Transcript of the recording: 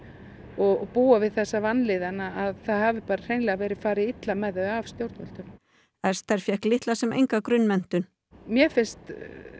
og búa við þessa vanlíðan að það hafi bara hreinlega verið farið illa með þau af stjórnvöldum Esther fékk litla sem enga grunnmenntun mér finnst